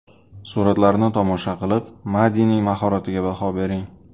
Suratlarni tomosha qilib, Madining mahoratiga baho bering.